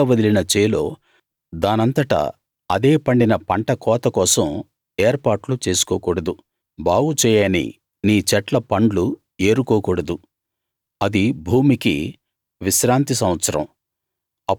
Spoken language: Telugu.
బీడుగా వదిలిన చేలో దానంతట అదే పండిన పంట కోత కోసం ఏర్పాట్లు చేసుకోకూడదు బాగు చేయని నీ చెట్ల పండ్లు ఏరుకోకూడదు అది భూమికి విశ్రాంతి సంవత్సరం